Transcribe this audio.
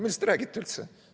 Millest te räägite üldse?